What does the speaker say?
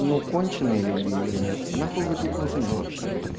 ну конченые люди или нет нахуй вы тут нужны вообще